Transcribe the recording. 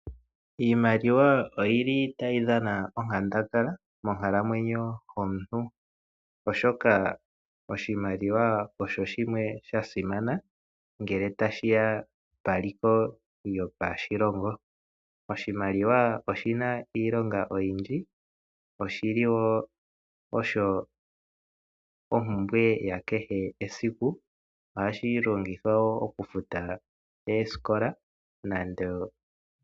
Iimaliwa otayi dhana onkandangala monkalamwenyo yomuntu, oshoka oshimaliwa osha simana ngele tashi ya peliko lyoshilongo. Oshimaliwa oshi na iilonga oyindji. Oshi li wo osho ompumbwe yakehe esiku nohashi longithwa wo okufuta oosikola.